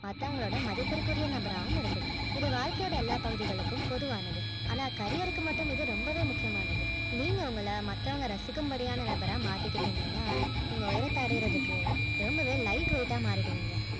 மத்தவங்களோட மதிப்பிற்குரிய நபராகவும் இருக்கணும் இது வாழ்க்கையோட எல்லா பகுதிகளுக்கும் பொதுவானது ஆனா career க்கு மட்டும் ரொம்பவே முக்கியமானது நீங்க உங்கள மத்தவங்க ரசிக்கும் படியான நபரா மாத்தி கிட்டீங்கன்னா நீங்க உயரத்தை அடையறதுக்கு ரொம்பவே light weight ஆ மாறிடுவிங்க